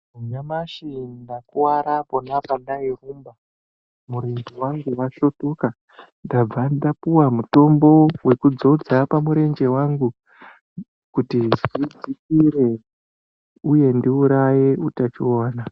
Nyamashi ndakuwara pona pandairumba murenje wangu wasvitoka ndabva ndapuwa mutombo wekudzodza pamurenje wangu kuti zvidzikire uye ndiuraye utachiwana.